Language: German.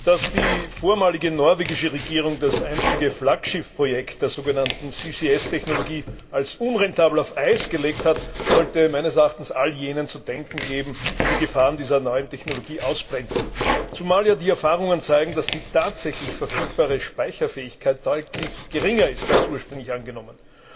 Herr Präsident! Dass die vormalige norwegische Regierung das einstige Flaggschiffprojekt der sogenannten CCS Technologie als unrentabel auf Eis gelegt hat, sollte meines Erachtens all jenen zu denken geben, die die Gefahren dieser neuen Technologie ausblenden, zumal ja die Erfahrungen zeigen, dass die tatsächlich verfügbare Speicherfähigkeit deutlich geringer ist als ursprünglich angenommen.